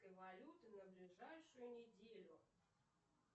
валюты на ближайшую неделю